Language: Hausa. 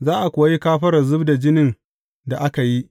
Za a kuwa yi kafarar zub da jinin da aka yi.